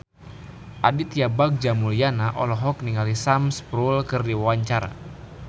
Aditya Bagja Mulyana olohok ningali Sam Spruell keur diwawancara